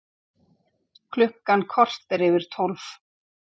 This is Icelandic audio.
Klukkan korter yfir tólf